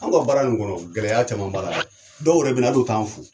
An ka baara nin kɔnɔ, gɛlɛya caman b'a la dɛ. Dɔw yɛrɛ bɛna hal'o t'an fo.